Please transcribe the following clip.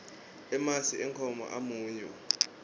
emasi enkhomo amunyu